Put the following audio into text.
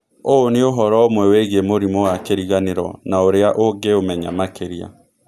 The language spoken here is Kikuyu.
ũũ nĩ ũhoro ũmwe wĩgiĩ mũrimũ wa kĩriganĩro na ũrĩa ũngĩũmenya makĩria.